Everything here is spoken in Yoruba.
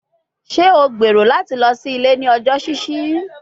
Ṣe o gbero lati lọ si ile ni ọjọ ṣiṣi?